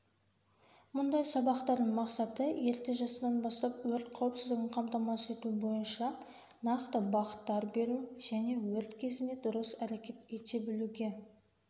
мұндай сабақтардың мақсаты ерте жастан бастап өрт қауіпсіздігін қамтамасыз ету бойынша нақты бағыттар беру және өрт кезінде дұрыс әрекет ете білуге